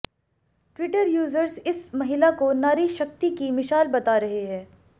Twitter users इस महिला को नारी शक्ति की मिशाल बता रहे हैं